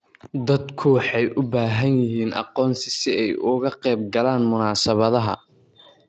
Dadku waxay u baahan yihiin aqoonsi si ay uga qaybgalaan munaasabadaha.